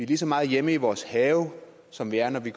lige så meget hjemme i vores have som vi er når vi